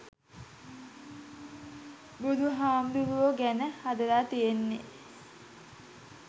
බුදුහාමුදුරැවො ගැන හදල තියෙන්නෙ